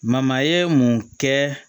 ye mun kɛ